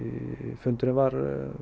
fundurinn var